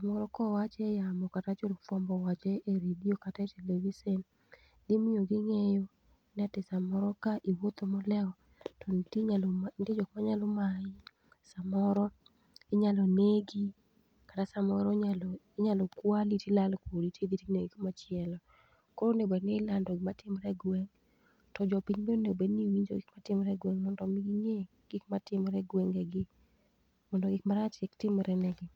Gimoro kowache eyamo kata ka jofuambo owache e televisen dhi miyo ging'eyo ni to kamoro kae kiwuotho molewo to nitanyalo nitie jok manyalo mayi samoro inyalo negi kata samoro inyalo inyalo kwali to idhi to ilal kodi to idhi tinegi machielo koro onego bed ni ilando gima timore egweng' to jopiny bende onego obed ni wonjo gik matimore egweng' mondo mi ging'e gik matimore e gwengegi mondo gik marach kik timre negi.